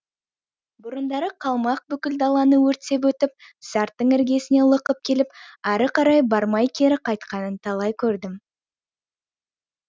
бұрындары қалмақ бүкіл даланы өртеп өтіп сарттың іргесіне лықып келіп ары қарай бармай кері қайтқанын талай көрдім